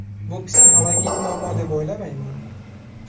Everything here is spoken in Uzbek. Bu psixologik muammo deb o‘ylamayman.